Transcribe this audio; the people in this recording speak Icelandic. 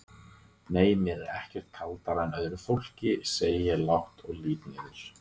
Nei mér er ekkert kaldara en öðru fólki, segi ég lágt og lít niður.